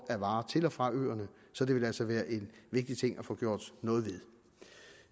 til og fra øerne så det vil altså være en vigtig ting at få gjort noget ved